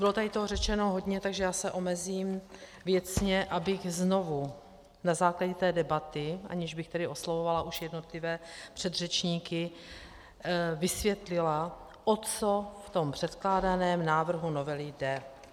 Bylo tady toho řečeno hodně, takže já se omezím věcně, abych znovu na základě té debaty, aniž bych tedy oslovovala už jednotlivé předřečníky, vysvětlila, o co v tom předkládaném návrhu novely jde.